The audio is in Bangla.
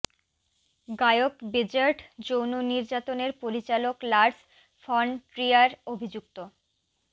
গায়ক বেজর্ট যৌন নির্যাতনের পরিচালক লারস ফন ট্রিয়ার অভিযুক্ত